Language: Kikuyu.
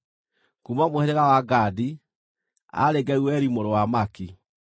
kuuma mũhĩrĩga wa Gadi, aarĩ Geueli mũrũ wa Maki.